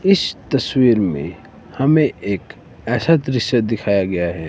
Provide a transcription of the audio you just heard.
इस तस्वीर में हमें एक ऐसा दृश्य दिखाया गया है।